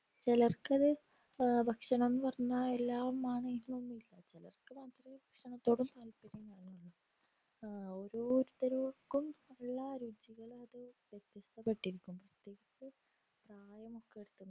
ചിലർക്കത് ഭക്ഷണം എന്നു പറഞ്ഞാൽ എല്ലാമാണ് എന്നൊന്നുല്ല ചിലർക് മാത്രേ ഭക്ഷണത്തോടും താത്പര്യം കാണുള്ളൂ ഓരോരുത്തരക്കും ഉള്ള രുചികളത് വിത്യസ് അധികും